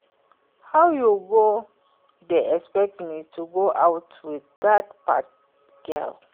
How you go dey expect me to go out with dat fat girl